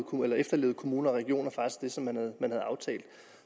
kommuner og regioner